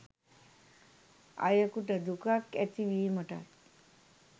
අයකුට දුකක් ඇතිවීමටත්